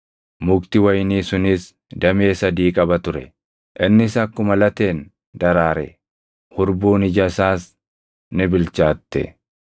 mukti wayinii sunis damee sadii qaba ture. Innis akkuma lateen daraare; hurbuun ija isaas ni bilchaatte.